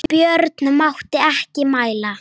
Björn mátti ekki mæla.